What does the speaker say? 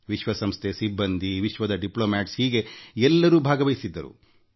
ವಿಶ್ವಸಂಸ್ಥೆಯ ಸಿಬ್ಬಂದಿ ವಿಶ್ವಾದ್ಯಂತದ ರಾಜತಾಂತ್ರಿಕರುಭಾಗವಹಿಸಿದ್ದರು